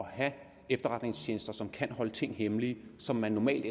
at have efterretningstjenester som kan holde nogle ting hemmelige som man normalt